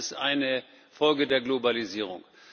Auch das ist eine Folge der Globalisierung.